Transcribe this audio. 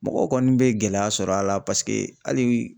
Mɔgɔw kɔni bɛ gɛlɛya sɔr'a la hali